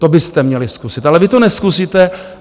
To byste měli zkusit, ale vy to nezkusíte.